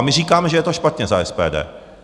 A my říkáme, že je to špatně, za SPD.